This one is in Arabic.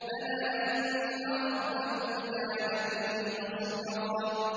بَلَىٰ إِنَّ رَبَّهُ كَانَ بِهِ بَصِيرًا